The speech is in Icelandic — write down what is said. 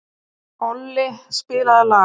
Olli, spilaðu lag.